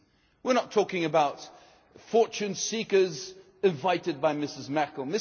We are not talking about fortune seekers invited by Mrs Merkel.